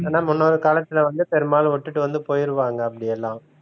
ஆனா முன்னொரு காலத்தில வந்து பெரும்பாலும் விட்டுட்டு வந்து போயிருவாங்க அப்படியெல்லாம்